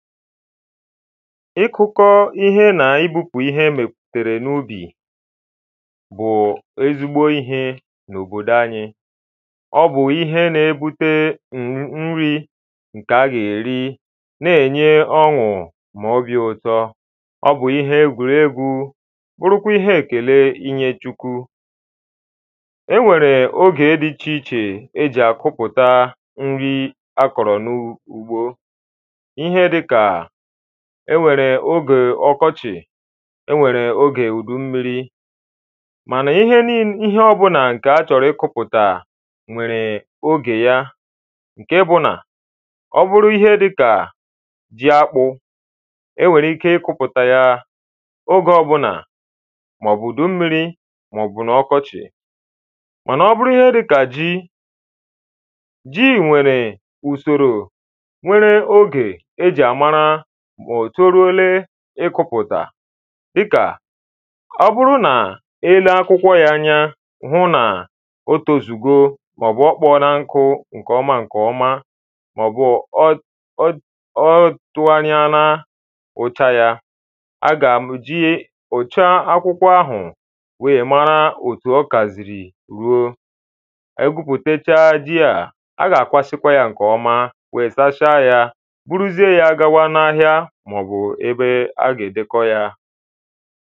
Ịkụ̄ kọ ihe nà ibupu ihe emepùtèrè n’ubì bụ̀ ezigbo ihe n’òbòdò anyɪ ọ bụ̀ ihe na-ebute nri ǹkè a gà-èri n’enye ọṅụ̀ mà obì ụ̀tọ ọ bụ̀ ihe egwurēgwu bụrụkwa ihe èkèle inyē Chukwu e nwèrè ogè di icheichè ejì àkụpụta nri akọ̀rọ̀ n’úgbo ihe dịka enwèrè ogè ọkọchị enwèrè ogè ùdùmmirī mànà ihe ọbụ̀là ǹkè achọ̀rọ̀ ịkụpụ̀tà nwèrè ogè ya ǹke bụ nà ọ bụrụ ihe dịkà jiakpụ̀ e nwèrè ike ịkụpụ̀tà ya oge ọbụlà màọ̀bụ̀ ùdùmmirī màọ̀bụ̀ ọkọchị̀ mànà ọ bụrụ ihe dịkà ji ji nwèrè ùsòrò nwere ogè ejì àmàra mà ò toruole ịkọ̄pụ̀tà dịkà ọbụrụ n’ilee akwụkwọ ya anya hụ n’òtòzùgo màọ̀bụ̀ ọkpọ na nkụ ǹkèọma ǹkèọma màọ̀bụ̀ ọdụanịana ụ̀cha ya a gà-èji ụ̀cha akwukwọ ahụ wèè mara òtù ọkazìrì ruo egwupùtèchaa ji ā, a gà-àkwasịkwa ya ǹkè ọma wèè sachaa ya buruziè ya gawa na:hịa màọ̀bụ ebe a gà-èdèkọ ya